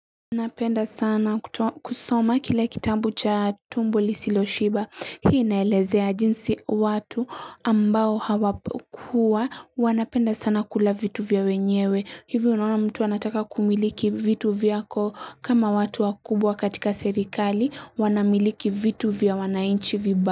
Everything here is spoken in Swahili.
Napenda sana kusoma kile kitambu cha tumbo lisilo shiba hii naelezea jinsi watu ambao wanapenda sana kula vitu vya wenyewe hivi unaona mtu anataka kumiliki vitu vyako kama watu wa kubwa katika serikali wanamiliki vitu vya wanainchi vibaya.